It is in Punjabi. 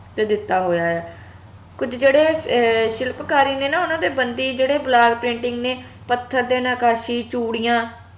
ਤੇ ਦਿੱਤਾ ਹੋਇਆ ਆ ਕੁਝ ਜੇਹੜੇ ਅਹ ਸ਼ਿਲਪਕਾਰੀ ਨੇ ਨਾ ਓਹਨਾ ਦੇ ਬੰਦੀ ਜਿਹੜੇ block painting ਨੇ ਪੱਥਰ ਤੇ ਨਕਾਸ਼ੀ ਚੂੜੀਆਂ